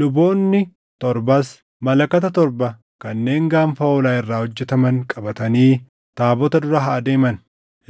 Luboonni torbas malakata torba kanneen gaanfa hoolaa irraa hojjetaman qabatanii taabota dura haa deeman.